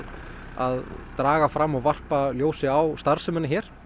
að draga fram og varpa ljósi á starfsemina hérna